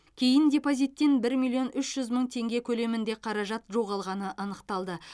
кейін депозиттен бір миллион үш жүз мың теңге көлемінде қаражат жоғалғаны анықталды